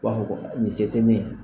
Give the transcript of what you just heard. U b'a fɔ ko nin se tɛ ne ye.